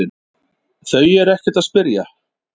Þau eru ekkert að spyrja